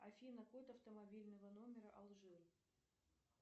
афина код автомобильного номера алжир